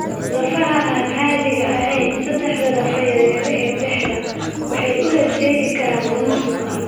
Lafaha aan caadiga ahayn (saddexda lafo yaryar ee dhegta) waxay u horseedi karaan lumis maqal.